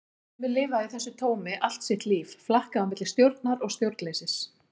Sumir lifa í þessu tómi allt sitt líf, flakka á milli stjórnar og stjórnleysis.